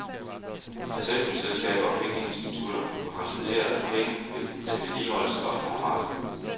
Forsikringsselskaber og pengeinstitutter må konstatere, at penge til vedligeholdelse ofte har manglet.